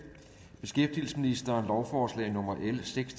beskæftigelsesministeren lovforslag nummer l seks